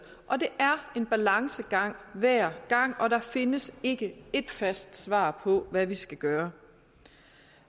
og det er en balancegang hver gang og der findes ikke ét fast svar på hvad vi skal gøre